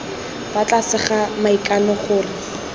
fa tlase ga maikano gore